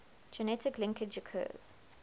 genetic linkage occurs